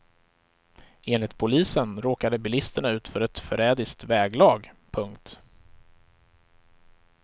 Enligt polisen råkade bilisterna ut för ett förrädiskt väglag. punkt